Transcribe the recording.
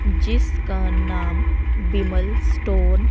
जिसका नाम विमल स्टोर --